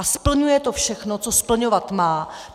A splňuje to všechno, co splňovat má.